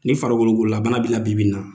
Ni farikolo gololabana bila bibi in na.